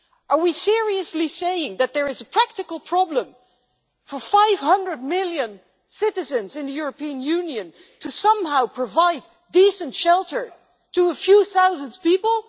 Are we seriously saying that there is a practical problem for 500 million citizens in the European Union to somehow provide decent shelter to a few thousand people?